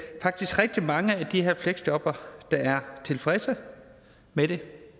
er rigtig mange af de her fleksjobbere der er tilfredse med det